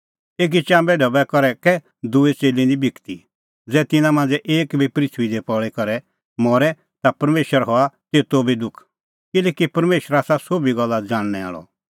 एकी चाम्बे ढबै करै कै दूई च़ेल्ली निं बिकदी ज़ै तिन्नां मांझ़ै एक बी पृथूई दी पल़ी करै मरे ता परमेशरा हआ तेतो बी थोघ किल्हैकि परमेशर आसा सोभी गल्ला ज़ाणनै आल़अ